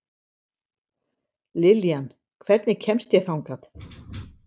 Liljan, hvernig kemst ég þangað?